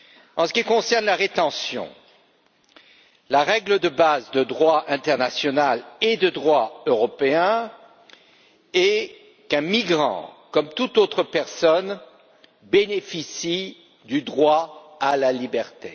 En ce qui concerne la rétention, la règle de base de droit international et de droit européen est qu'un migrant, comme toute autre personne, bénéficie du droit à la liberté.